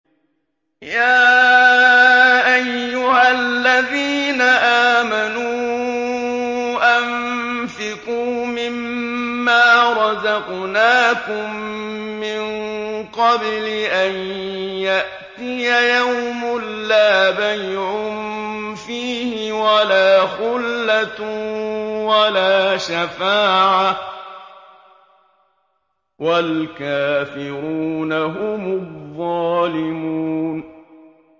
يَا أَيُّهَا الَّذِينَ آمَنُوا أَنفِقُوا مِمَّا رَزَقْنَاكُم مِّن قَبْلِ أَن يَأْتِيَ يَوْمٌ لَّا بَيْعٌ فِيهِ وَلَا خُلَّةٌ وَلَا شَفَاعَةٌ ۗ وَالْكَافِرُونَ هُمُ الظَّالِمُونَ